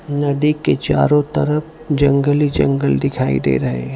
नदी के चारों तरफ जंगल ही जंगल दिखाई दे रहे हैं।